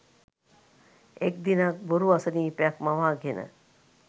එක් දිනක් බොරු අසනීපයක් මවාගෙන